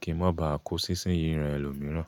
kí n má ba à kó sísín yìí ran ẹlòmíràn.